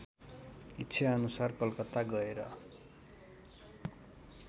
इच्छाअनुसार कलकत्ता गएर